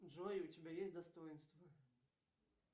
джой у тебя есть достоинство